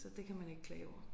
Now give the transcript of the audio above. Så det kan man ikke klage over